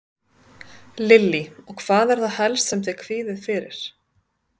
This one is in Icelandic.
Lillý: Og hvað er það helst sem þið kvíðið fyrir?